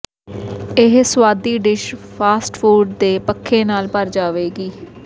ਇਹ ਸੁਆਦੀ dish fast food ਦੇ ਪੱਖੇ ਨਾਲ ਭਰ ਜਾਵੇਗੀ